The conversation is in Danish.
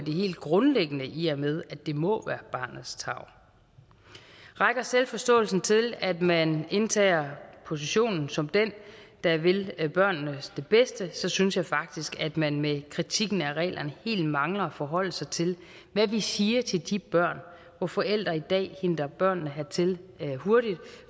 helt grundlæggende i og med at det må være barnets tarv rækker selvforståelsen til at man indtager positionen som den der vil børnene det bedste så synes jeg faktisk at man med kritikken af reglerne helt mangler at forholde sig til hvad vi siger til de børn hvor forældre i dag henter børnene hertil hurtigt